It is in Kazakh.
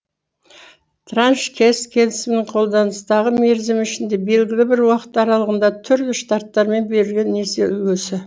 транш қес келісімінің қолданыстағы мерзімі ішінде белгілі бір уақыт аралығында түрлі штарттармен берілетін несие үлесі